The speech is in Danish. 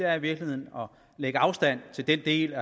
er i virkeligheden at lægge afstand til den del